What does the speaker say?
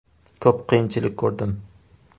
Ko‘p qiyinchilik ko‘rdim.